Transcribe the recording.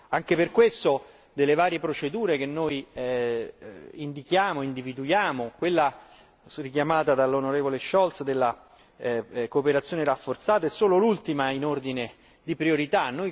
Anche per questo, nelle varie procedure che noi indichiamo e individuiamo, quella richiamata dall'onorevole Scholz della cooperazione rafforzata è solo l'ultima in ordine di priorità.